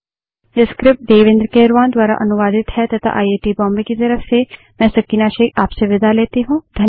यह स्क्रिप्ट देवेन्द्र कैरवान द्वारा अनुवादित है तथा आई आई टी बॉम्बे की तरफ से मैं सकीना शेख अब आप से विदा लेती हूँ